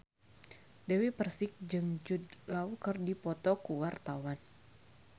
Dewi Persik jeung Jude Law keur dipoto ku wartawan